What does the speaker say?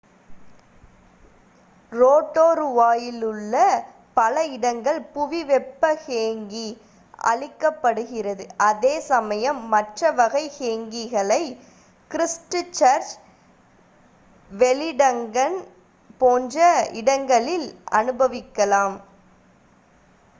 ரோடோரூவாவிலுள்ள பல இடங்கள் புவி வெப்ப ஹேங்கி அளிக்கப்படுகிறது அதே சமயம் மற்ற வகை ஹெங்கிகளை கிரிஸ்ட்சர்ச் வெலிங்டன் போன்ற இடங்களில் அனுபவிக்கலாம்